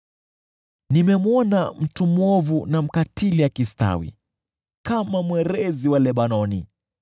Nimemwona mtu mwovu na mkatili akistawi kama mwerezi wa Lebanoni,